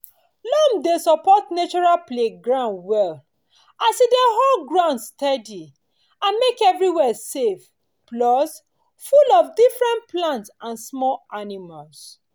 loam dey support natural playground well as e dey hold ground steady and make everywhere safe plus full of different plants and small animals.